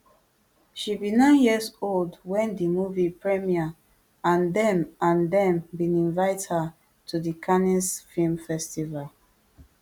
she be nine years old wen di movie premiere and dem and dem bin invite her to di cannes film festival